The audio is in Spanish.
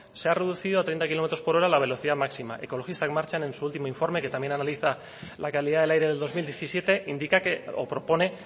se ha reducido a treinta kilómetros por hora la velocidad máxima ekologistak martxan en su último informe que también analiza la calidad del aire del dos mil diecisiete indica que o propone